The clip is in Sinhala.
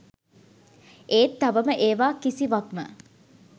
ඒත් තවම ඒවා කිසිවක්ම